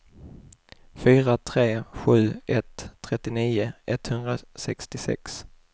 fyra tre sju ett trettionio etthundrasextiosex